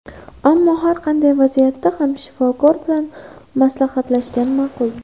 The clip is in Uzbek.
Ammo har qanday vaziyatda ham shifokor bilan maslahatlashgan ma’qul.